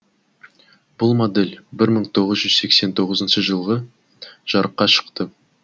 бұл модель бір мың тоғыз жүз сексен тоғызыншы жылы жарыққа шықты